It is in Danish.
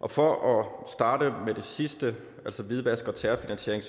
og for at starte med det sidste altså hvidvask og terrorfinansiering